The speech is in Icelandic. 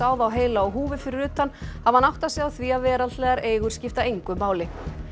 þá heila á húfi fyrir utan hafi hann áttað sig á því að veraldlegar eigur skipta engu máli